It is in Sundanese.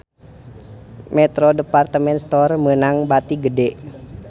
Metro Department Store meunang bati gede